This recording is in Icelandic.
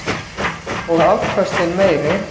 Og afköstin meiri.